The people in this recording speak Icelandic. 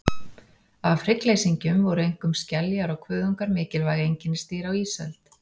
Af hryggleysingjum voru einkum skeljar og kuðungar mikilvæg einkennisdýr á ísöld.